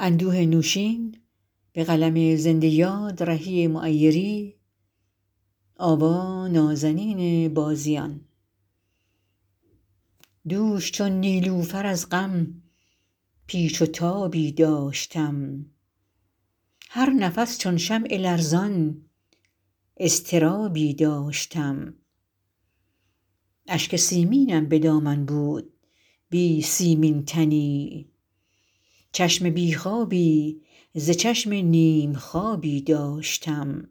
دوش چون نیلوفر از غم پیچ و تابی داشتم هر نفس چون شمع لرزان اضطرابی داشتم اشک سیمینم به دامن بود بی سیمین تنی چشم بی خوابی ز چشم نیم خوابی داشتم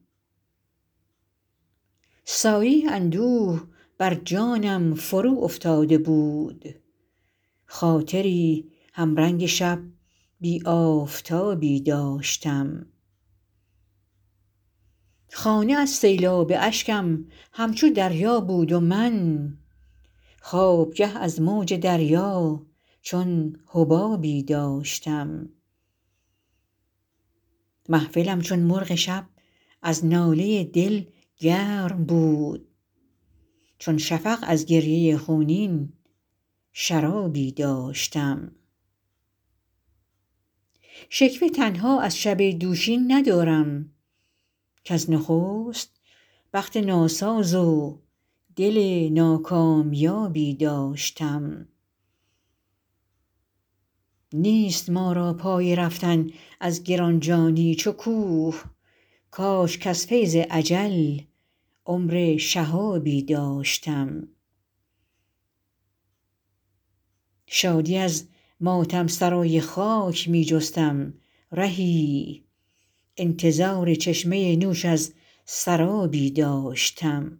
سایه اندوه بر جانم فرو افتاده بود خاطری هم رنگ شب بی آفتابی داشتم خانه از سیلاب اشکم همچو دریا بود و من خوابگه از موج دریا چون حبابی داشتم محفلم چون مرغ شب از ناله دل گرم بود چون شفق از گریه خونین شرابی داشتم شکوه تنها از شب دوشین ندارم کز نخست بخت ناساز و دل ناکامیابی داشتم نیست ما را پای رفتن از گران جانی چو کوه کاش کز فیض اجل عمر شهابی داشتم شادی از ماتم سرای خاک می جستم رهی انتظار چشمه نوش از سرابی داشتم